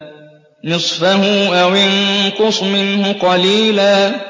نِّصْفَهُ أَوِ انقُصْ مِنْهُ قَلِيلًا